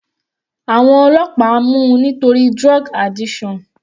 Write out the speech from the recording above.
Àwọn ọlọ́pàá mú u nítorí drug addiction.